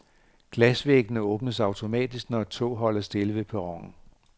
Glasvæggene åbnes automatisk, når et tog holder stille ved perronen.